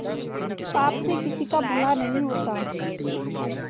पाप से किसी का भला नहीं होता